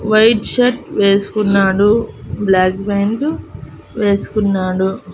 White shirt వేసుకున్నాడు black pant వేసుకున్నాడు.